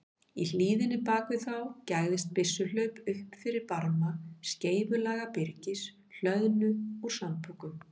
Í hlíðinni bak við þá gægðist byssuhlaup upp fyrir barma skeifulaga byrgis, hlöðnu úr sandpokum.